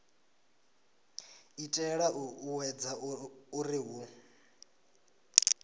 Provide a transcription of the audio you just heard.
itela u ṱuṱuwedza uri hu